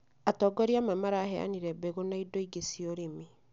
Atongoria amwe maraheanire mbegu na indo ingĩ cia ũrĩmi